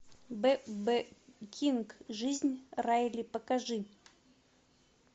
б б кинг жизнь райли покажи